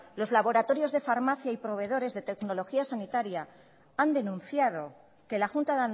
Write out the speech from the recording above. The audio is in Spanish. los laboratorios de farmacia y proveedores de tecnología sanitaria han denunciado que la junta